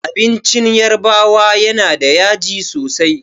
Abincin yarbawa yana da yaji sosai.